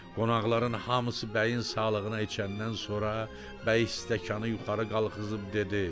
Qonaqların hamısı bəyin sağlığına içəndən sonra bəy stəkanı yuxarı qaldırıb dedi: